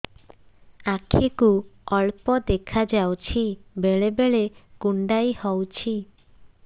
ଆଖି କୁ ଅଳ୍ପ ଦେଖା ଯାଉଛି ବେଳେ ବେଳେ କୁଣ୍ଡାଇ ହଉଛି